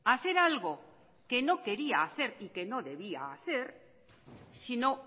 a hacer algo que no quería y que no debía hacer si no